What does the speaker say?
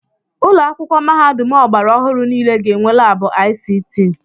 Ụlọ akwụkwọ mahadum ọgbara ọhụrụ niile ga-enwe laabụ ICT.